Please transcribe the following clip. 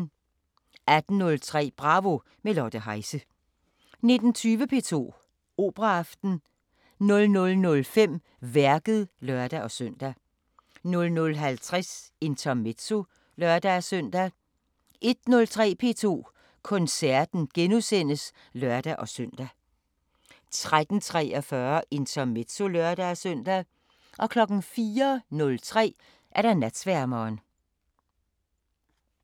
18:03: Bravo – med Lotte Heise 19:20: P2 Operaaften 00:05: Værket (lør-søn) 00:50: Intermezzo (lør-søn) 01:03: P2 Koncerten *(lør-søn) 03:43: Intermezzo (lør-søn) 04:03: Natsværmeren